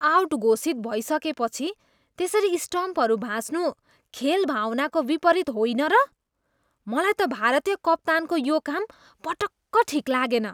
Out घोषित भइसकेपछि त्यसरी स्टम्पहरू भाँच्नु खेल भावनाको विपरित होइन र? मलाई त भारतीय कप्तानको यो काम पटक्क ठिक लागेन।